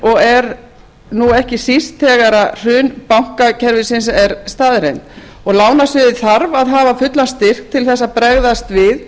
er nú ekki síst þegar hrun bankakerfisins er staðreynd og lánasviðið þarf að hafa fullan styrk til að bregðast við